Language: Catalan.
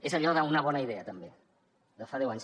és allò d’una bona idea també de fa deu anys